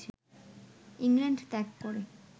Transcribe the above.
England ত্যাগ করে